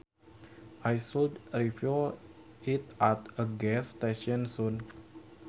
I should refuel it at a gas station soon